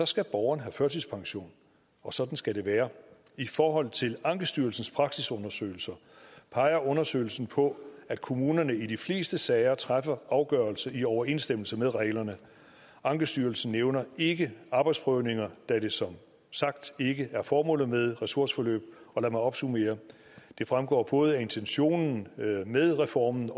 skal borgeren have førtidspension og sådan skal det være i forhold til ankestyrelsens praksisundersøgelse peger undersøgelsen på at kommunerne i de fleste sager træffer afgørelse i overensstemmelse med reglerne ankestyrelsen nævner ikke arbejdsprøvninger da det som sagt ikke er formålet med ressourceforløb lad mig opsummere det fremgår både af intentionen med reformen